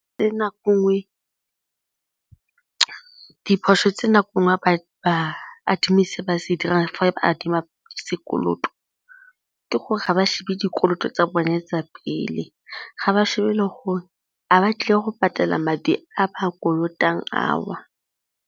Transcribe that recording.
Diphoso tse nako e nngwe ba adimile tse ba di dirang fa ba adima sekoloto ke gore ga ba shebe dikoloto tsa bone tsa pele, ga ba shebe le gore a o batlile go patela madi a ba kolotang ao.